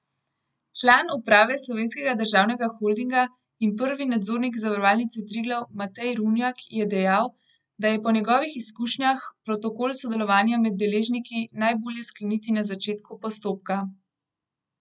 Član uprave Slovenskega državnega holdinga in prvi nadzornik Zavarovalnice Triglav Matej Runjak je dejal, da je po njegovih izkušnjah, protokol sodelovanja med deležniki najbolje skleniti na začetku postopka.